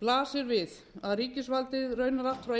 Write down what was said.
blasir við að ríkisvaldið raunar allt frá